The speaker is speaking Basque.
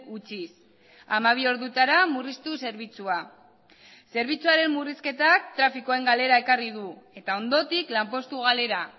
utziz hamabi ordutara murriztuz zerbitzua zerbitzuaren murrizketak trafikoen galera ekarri du eta ondotik lanpostu galera